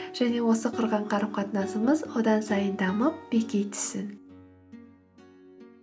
және осы құрған қарым қатынасымыз одан сайын дамып беки түссін